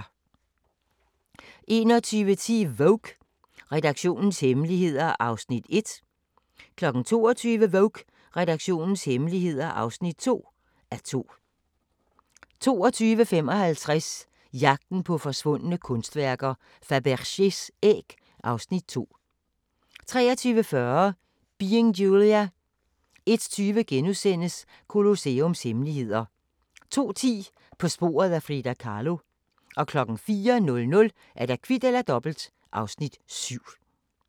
21:10: Vogue: Redaktionens hemmeligheder (1:2) 22:00: Vogue: Redaktionens hemmeligheder (2:2) 22:55: Jagten på forsvundne kunstværker: Fabergés æg (Afs. 2) 23:40: Being Julia 01:20: Colosseums hemmeligheder * 02:10: På sporet af Frida Kahlo 04:00: Kvit eller Dobbelt (Afs. 7)